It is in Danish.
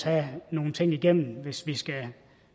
have nogle ting igennem hvis vi skal